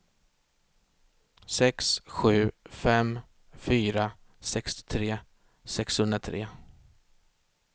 sex sju fem fyra sextiotre sexhundratre